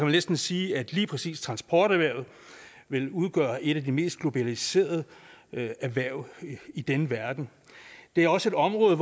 næsten sige at lige præcis transporterhvervet vil udgøre et af de mest globaliserede erhverv i denne verden det er også et område